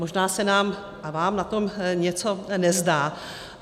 Možná se nám a vám na to něco nezdá.